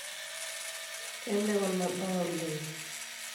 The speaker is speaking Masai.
keme kuna baa oleng